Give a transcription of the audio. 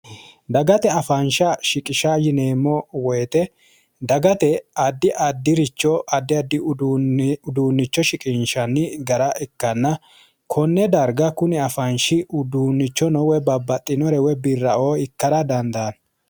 Dagate afansha shiqisha yineemmo woyiite dagate addi addiricho addi addi uduunnicho shiqinshani gara ikkanna konne darga kuni afanshi uduunichono woyi babbaxinore woyi birraoo ikkara dandaanno.